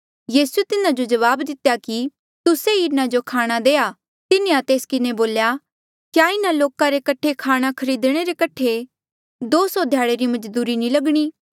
यीसूए तिन्हा जो जवाब दितेया कि तुस्से ई इन्हा जो खाणा देआ तिन्हें तेस किन्हें बोल्या क्या इन्हा लोका रे कठे खाणा खरीदणे रे कठे दो सौ ध्याड़े री मजदूरी नी लगणी